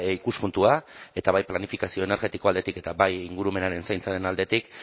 ikuspuntua eta bai planifikazio energetiko aldetik eta bai ingurumenaren zaintzaren aldetik